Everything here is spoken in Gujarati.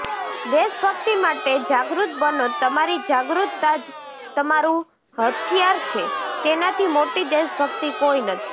દેશભક્તિ માટે જાગૃત બનો તમારી જાગૃતતા જ તમારું હથિયાર છે તેનાથી મોટી દેશભક્તિ કોઈ નથી